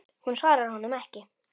Hún svarar honum ekki.